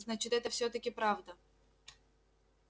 значит это всё-таки правда